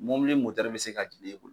Mobili mɔtɛri be se ka jigi e bolo